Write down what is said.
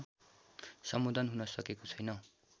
सम्बोधन हुन सकेको छैन